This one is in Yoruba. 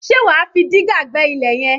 Ṣe wà á fi dígà gbẹ́ ilẹ̀ yẹn?